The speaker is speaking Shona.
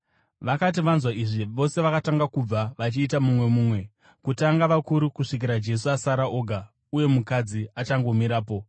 Vakati vanzwa izvi, vose vakatanga kubva vachiita mumwe mumwe, kutanga vakuru, kusvikira Jesu asara oga, uye mukadzi achakangomirapo.